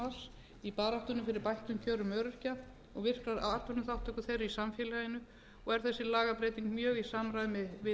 frítekjumarks í baráttunni fyrir bættum kjörum öryrkja og virkrar atvinnuþátttöku þeirra í samfélaginu og er þessi lagabreyting mjög í samræmi við